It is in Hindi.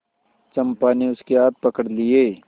चंपा ने उसके हाथ पकड़ लिए